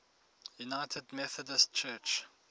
united methodist church